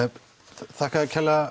þakka þér kærlega